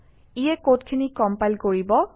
ইয়ে কডখিনি কম্পাইল কৰিব